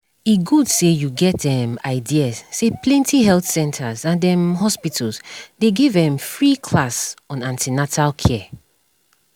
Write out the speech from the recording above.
better an ten atal care dey help improve mama um and pikin health um